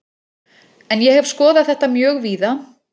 En ég hef skoðað þetta mjög víða.